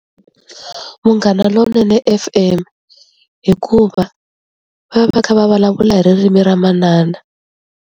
Munghana lonene F_M hikuva va va kha va vulavula hi ririmi ra manana.